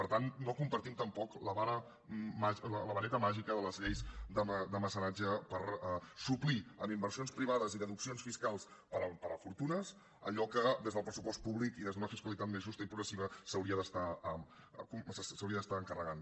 per tant no compartim tampoc la vareta màgica de les lleis de mecenatge per suplir amb inversions privades i deduccions fiscals per a fortunes allò que des del pressupost públic i des d’una fiscalitat més justa i progressiva s’hauria d’estar encarregant